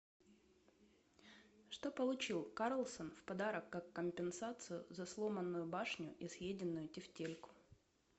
что получил карлсон в подарок как компенсацию за сломанную башню и съеденную тефтельку